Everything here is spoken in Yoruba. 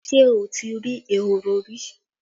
Ṣé o ti rí ehoro rí?